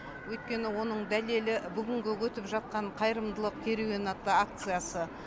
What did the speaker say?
өйткені оның дәлелі бүгінгі өтіп жатқан қайырымдылық керуені атты акциясы